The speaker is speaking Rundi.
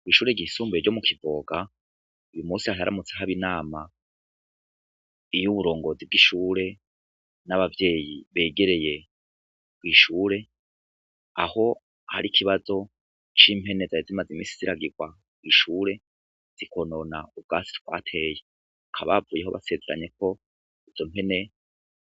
Kw'ishure gisumbuye ro mu kivoga uyu musi haharamutse ahoabo inama iyo uburongozi bw'ishure n'abavyeyi begereye kw'ishure aho hari ikibazo c'impene za ya zimaze imisi ziragirwa w'ishure zikonona ubwasi twateye kabavu eho basezeranye ko uzo mpene